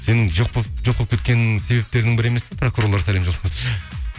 сенің жоқ болып кеткеніңнің себептерінің бірі емес пе пракурорлар сәлем